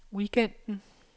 weekenden